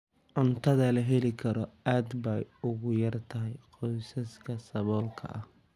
Cuntada la heli karo aad bay ugu yar tahay qoysaska saboolka ah.